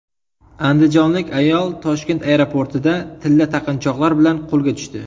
Andijonlik ayol Toshkent aeroportida tilla taqinchoqlar bilan qo‘lga tushdi.